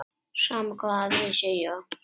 Sama hvað aðrir segja.